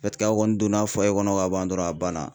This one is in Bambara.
a kɔni donna kɔnɔ ka ban dɔrɔn a banna.